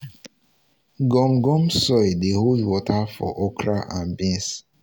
gum gum soil dey hold water for okra and beans.